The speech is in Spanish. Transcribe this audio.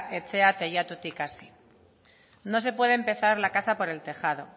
etxea teilatutik hasi no se puede empezar la casa por el tejado